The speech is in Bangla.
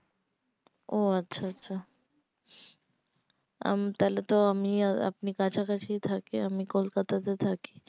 ও আচ্ছা আচ্ছা আমি তাহলে তো আমি আর আপনি কাছাকাছি থাকি আমি কলকাতা তে থাকি